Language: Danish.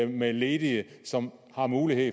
med ledige som har mulighed